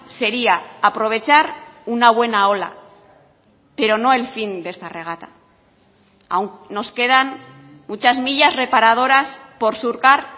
sería aprovechar una buena ola pero no el fin de esta regata aún nos quedan muchas millas reparadoras por surcar